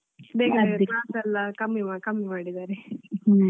ಬೇಕಾಗಿರುವ class ಅದೇ ಅದೇ ಎಲ್ಲಾ ಕಮ್ಮಿ ಕಮ್ಮಿ ಮಾಡಿದ್ದಾರೆ.